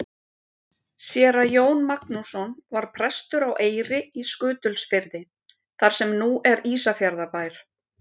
Séra Jón Magnússon var prestur á Eyri í Skutulsfirði þar sem nú er Ísafjarðarbær.